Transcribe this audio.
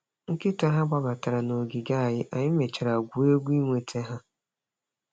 Nkịta ha gbabatara nogige anyị, anyị mechara gwuo egwu iweta ihe.